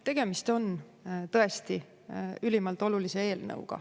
Tegemist on tõesti ülimalt olulise eelnõuga.